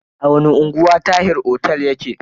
A wani unguwa Tahir otel yake?